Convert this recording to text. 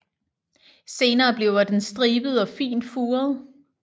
Senere bliver den stribet og fint furet